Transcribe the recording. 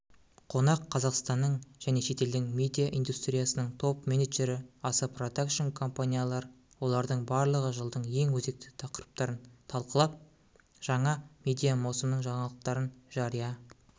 қонақ қазақстанның және шетелдің медиа индустриясының топ-менеджері аса продакшн-компаниялар олардың барлығы жылдың ең өзекті тақырыптарын талқылап жаңа медиамаусымның жаңалықтарын жария